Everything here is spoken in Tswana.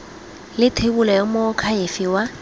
le thebolo ya moakhaefe wa